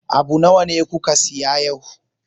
Abun nawa kuka siyar yau?